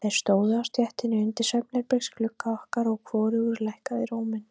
Þeir stóðu á stéttinni undir svefnherbergisglugga okkar, og hvorugur lækkaði róminn.